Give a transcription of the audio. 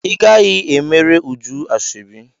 Ị gaghị emere Uju ashọbi!